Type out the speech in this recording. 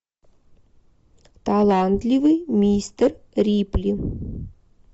талантливый мистер рипли